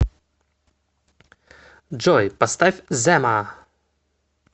джой поставь зема